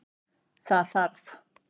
Það þarf